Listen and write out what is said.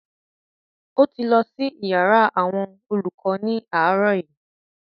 O ti lọ sí iyàrá àwọn olùkọ ni aarọ yi.